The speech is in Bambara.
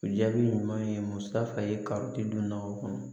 O jaabi ɲuman ye muso fɛ ye kari tɛ don na o kɔnɔ